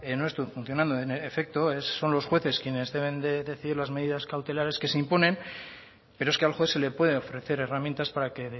no esté funcionando en efecto son los jueces quienes deben de decidir las medidas cautelares que se imponen pero es que al juez se le puede ofrecer herramientas para que